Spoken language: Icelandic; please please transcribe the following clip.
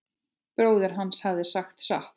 Bróðir hans hafði sagt satt.